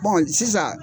sisan